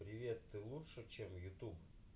привет ты лучше чем в ютуб